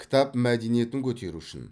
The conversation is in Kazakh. кітап мәдениетін көтеру үшін